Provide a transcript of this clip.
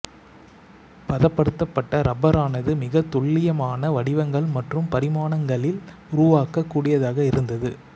பதப்படுத்தப்பட்ட இரப்பரானது மிகத்துல்லியமான வடிவங்கள் மற்றும் பரிமாணங்களில் உருவாக்கக் கூடியதாக இருந்தது